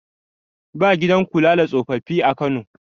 ba gidan kula da tsofaffi a Kano